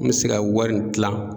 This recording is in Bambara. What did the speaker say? N mi se ka wari nin kilan